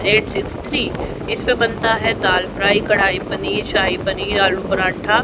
इसमें बनता है दाल फ्राई कड़ाई पनीर शाही पनीर आलू पराठा--